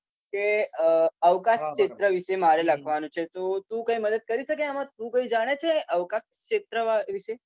કે અવકાશ ક્ષેત્ર વિશે મારે લખવાનુ છે તો તુ કઈ મદદ કરી શકે આમા. તુ કઈ જાણે છે અવકાશ ક્ષેત્રવીશે